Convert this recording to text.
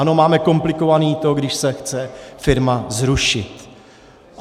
Ano, máme komplikované to, když se chce firma zrušit.